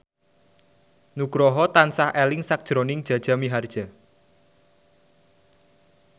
Nugroho tansah eling sakjroning Jaja Mihardja